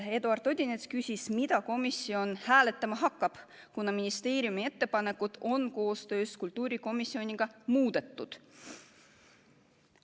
Eduard Odinets küsis, mida komisjon hääletama hakkab – ministeeriumi ettepanekut on koostöös kultuurikomisjoniga muudetud.